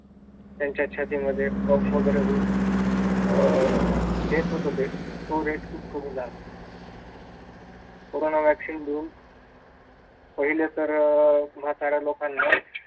त्यांच्या छातीमध्ये कफ वगैरे होऊन अह तेच होत ते तो rate खूप कमी झाला कोरोना वॅक्सीन घेऊन पहिले तर अह म्हाताऱ्या लोकांना